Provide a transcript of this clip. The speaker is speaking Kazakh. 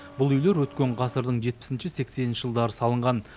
бұл үйлер өткен ғасырдың жетпісінші сексенінші жылдары салынған